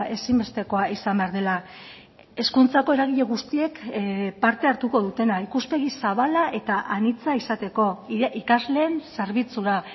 ezinbestekoa izan behar dela hezkuntzako eragile guztiek parte hartuko dutena ikuspegi zabala eta anitza izateko ikasleen zerbitzura